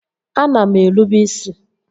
Ana m erube isi